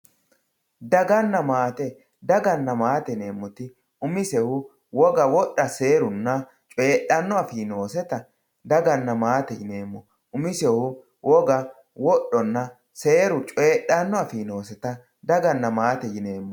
Daganna matte dagana matte yinemoti umisehu wogga wodha serunna coyidhano afi nosetta daganna mattete yinemo umisehu wogga wodhonna seeru coyidhani afi nosetta daganna matte yinemo